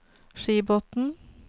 Skibotn